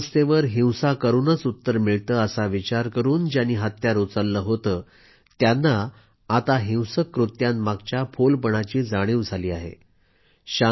कोणत्याही समस्येवर हिंसा करूनच उत्तर मिळते असा विचार करून ज्यांनी हत्यार उचलले होते त्यांनाही आता हिंसक कृत्यांमागच्या फोलपणाची जाणीव झाली आहे